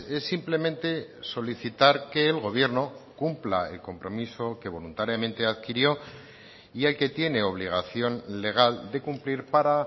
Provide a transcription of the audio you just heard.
es simplemente solicitar que el gobierno cumpla el compromiso que voluntariamente adquirió y el que tiene obligación legal de cumplir para